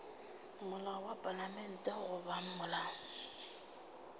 molao wa palamente goba molao